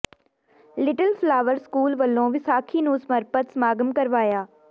little flower school ਵਲੋਂ ਵਿਸਾਖੀ ਨੂੰ ਸਮਰਪਿਤ ਸਮਾਗਮ ਕਰਵਾਇਆ